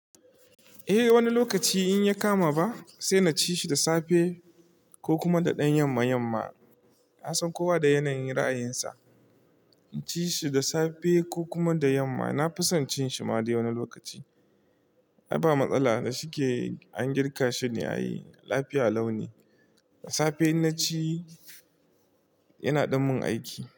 Eh wani lokaci in ya kama ba sai na ci shi da safe ko kuma da ɗan yamma yamma. Na san kowa da yanayin ra'ayinsa. In ci shi da safe ko kuma da yamma. Na fi son cin shi ma dai wani lokaci. Ai ba matsala da shi ke an girka shine ai lafiya lau ne. Da safe in na ci yana ɗan mun aiki.